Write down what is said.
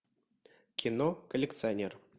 кино коллекционер